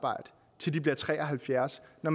at